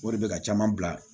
O de bɛ ka caman bila